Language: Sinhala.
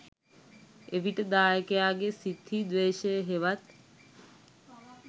එවිට දායකයාගේ සිත් හි ද්වේශය හෙවත්